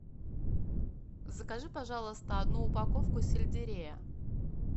закажи пожалуйста одну упаковку сельдерея